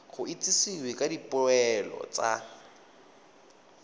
go itsisiwe ka dipoelo tsa